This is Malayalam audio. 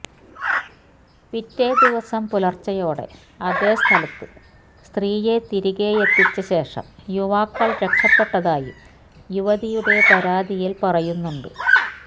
പിറ്റേദിവസം പുലര്ച്ചയോടെ അതേ സ്ഥലത്ത് സ്ത്രീയെ തിരികെയെത്തിച്ചശേഷം യുവാക്കള് രക്ഷപ്പെട്ടതായും യുവതിയുടെ പരാതിയില് പറയുന്നുണ്ട്